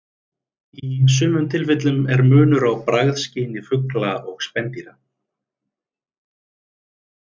Í sumum tilfellum er munur á bragðskyni fugla og spendýra.